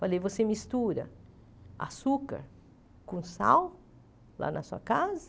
Falei, você mistura açúcar com sal lá na sua casa?